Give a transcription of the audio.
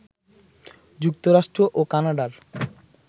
যুক্তরাষ্ট্র ও কানাডার